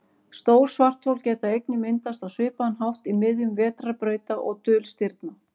Stór svarthol geta einnig myndast á svipaðan hátt í miðjum vetrarbrauta og dulstirna.